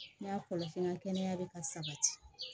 N ka kɔlɔsi n ka kɛnɛya bɛ ka sabati